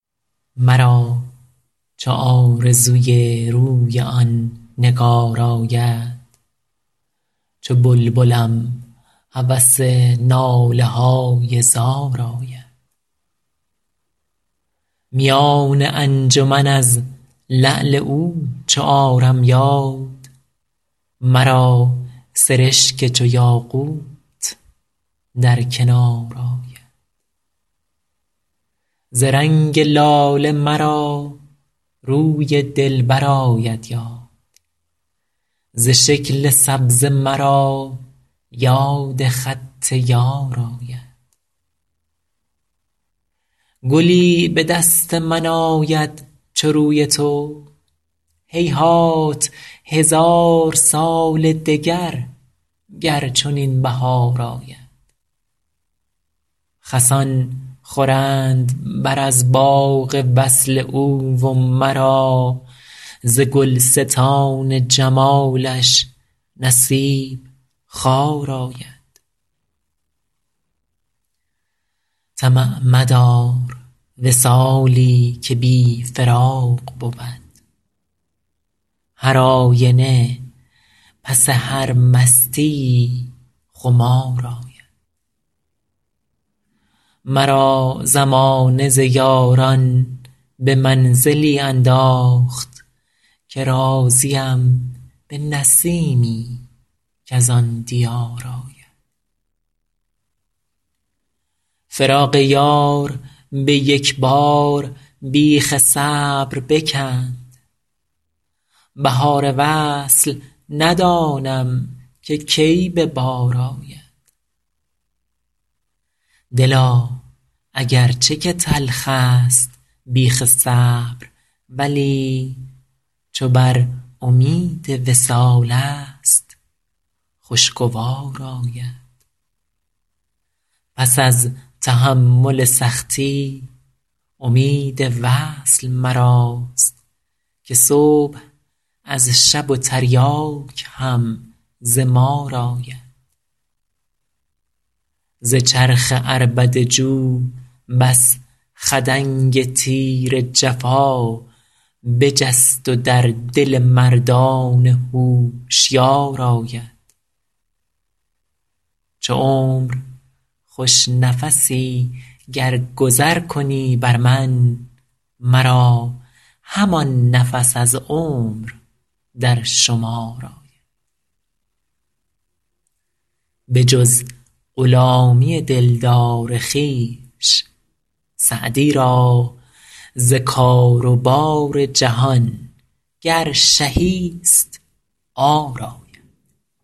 مرا چو آرزوی روی آن نگار آید چو بلبلم هوس ناله های زار آید میان انجمن از لعل او چو آرم یاد مرا سرشک چو یاقوت در کنار آید ز رنگ لاله مرا روی دلبر آید یاد ز شکل سبزه مرا یاد خط یار آید گلی به دست من آید چو روی تو هیهات هزار سال دگر گر چنین بهار آید خسان خورند بر از باغ وصل او و مرا ز گلستان جمالش نصیب خار آید طمع مدار وصالی که بی فراق بود هرآینه پس هر مستیی خمار آید مرا زمانه ز یاران به منزلی انداخت که راضیم به نسیمی کز آن دیار آید فراق یار به یک بار بیخ صبر بکند بهار وصل ندانم که کی به بار آید دلا اگر چه که تلخست بیخ صبر ولی چو بر امید وصالست خوشگوار آید پس از تحمل سختی امید وصل مراست که صبح از شب و تریاک هم ز مار آید ز چرخ عربده جو بس خدنگ تیر جفا بجست و در دل مردان هوشیار آید چو عمر خوش نفسی گر گذر کنی بر من مرا همان نفس از عمر در شمار آید بجز غلامی دلدار خویش سعدی را ز کار و بار جهان گر شهی ست عار آید